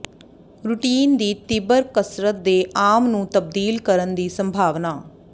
routine ਦੀ ਤੀਬਰ ਕਸਰਤ ਦੇ ਆਮ ਨੂੰ ਤਬਦੀਲ ਕਰਨ ਦੀ ਸੰਭਾਵਨਾ